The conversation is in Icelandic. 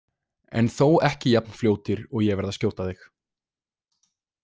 En þó ekki jafn fljótir og ég verð að skjóta þig